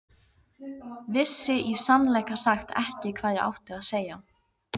Vissi í sannleika sagt ekki hvað ég átti að segja.